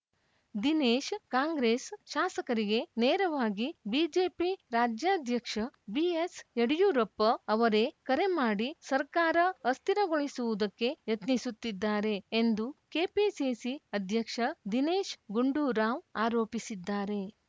ದಿನೇಶ್‌ ಕಾಂಗ್ರೆಸ್‌ ಶಾಸಕರಿಗೆ ನೇರವಾಗಿ ಬಿಜೆಪಿ ರಾಜ್ಯಾಧ್ಯಕ್ಷ ಬಿಎಸ್‌ಯಡಿಯೂರಪ್ಪ ಅವರೇ ಕರೆ ಮಾಡಿ ಸರ್ಕಾರ ಅಸ್ಥಿರಗೊಳಿಸುವುದಕ್ಕೆ ಯತ್ನಿಸುತ್ತಿದ್ದಾರೆ ಎಂದು ಕೆಪಿಸಿಸಿ ಅಧ್ಯಕ್ಷ ದಿನೇಶ್‌ ಗುಂಡೂರಾವ್‌ ಆರೋಪಿಸಿದ್ದಾರೆ